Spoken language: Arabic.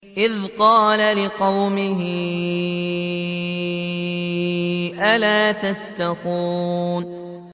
إِذْ قَالَ لِقَوْمِهِ أَلَا تَتَّقُونَ